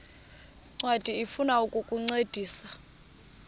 ncwadi ifuna ukukuncedisa